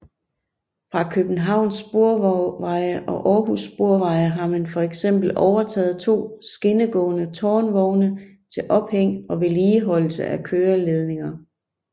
Fra Københavns Sporveje og Århus Sporveje har man for eksempel overtaget to skinnegående tårnvogne til ophæng og vedligeholdelse af køreledninger